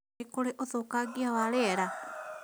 Nĩ kũrĩ ũthũkangia wa rĩera?